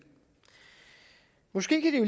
måske kan